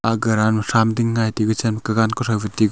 aga ranma thram ding ngai tebi chenka gan kuthrou fe tegu--